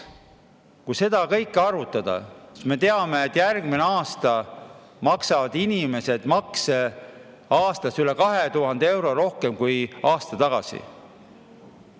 Kui see kõik kokku arvutada, siis me saame, et järgmine aasta maksavad inimesed makse üle 2000 euro rohkem kui aasta tagasi.